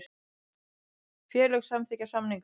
Félög samþykkja samninga